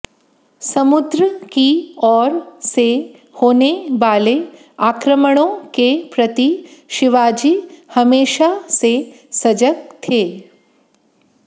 समुद्र की ओर से होने वाले आक्रमणों के प्रति शिवाजी हमेशा से सजग थे